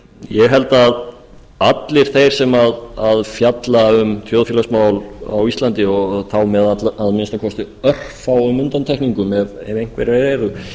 ég held að allir þeir sem fjalla um þjóðfélagsmál á íslandi og þá með að minnsta kosti örfáum undantekningum ef einhverjar eru